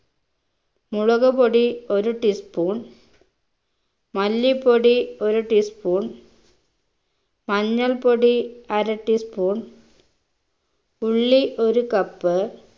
മുളക് പൊടി ഒരു tea spoon മല്ലിപ്പൊടി ഒരു tea spoon മഞ്ഞൾപ്പൊടി അര tea spoon ഉള്ളി ഒരു cup